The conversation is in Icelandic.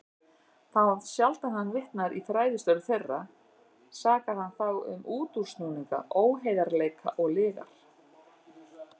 Þá sjaldan hann vitnar í fræðistörf þeirra, sakar hann þá um útúrsnúninga, óheiðarleika og lygar.